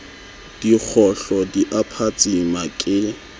dikgohlo di a phatsima ke